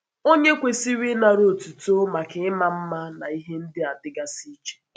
Ònye kwesịrị ịnara otuto maka ịma mma na ihe ndị a dịgasị iche?